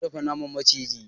Za mu dafa naman maciji.